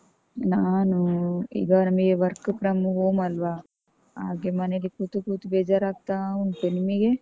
ನಾನು ಈಗ ನಮ್ಗೆ work from home ಅಲ್ವಾ? ಹಾಗೆ ಮನೆಲಿ ಕೂತು, ಕೂತು ಬೇಜಾರಾಗ್ತಾ ಉಂಟು. ನಿಮಿಗೆ?